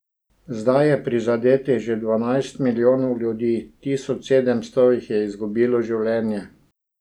Zdaj je prizadetih že dvanajst milijonov ljudi, tisoč sedemsto jih je izgubilo življenje.